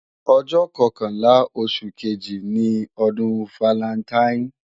Ọjọ́ kọkànlá oṣù kejì ni ọdún falantaín